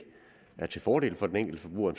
er til fordel for den enkelte forbruger